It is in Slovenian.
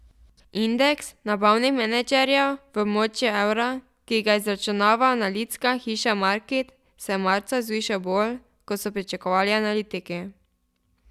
Indeks nabavnih menedžerjev v območju evra, ki ga izračunava analitska hiša Markit, se je marca zvišal bolj, kot so pričakovali analitiki.